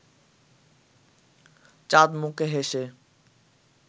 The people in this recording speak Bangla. চাঁদমুখে হেসে